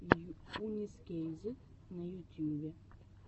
йунесскейзет на ютюбе